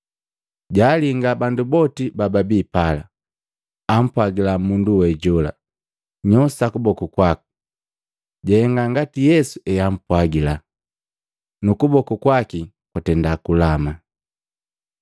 Jaalinga bandu boti bababi pala, ampwagila mundu we jola, “Nyoosa kuboku kwaku.” Jahenga ngati Yesu eampwagila, nu kuboku kwaki kwatenda kulama.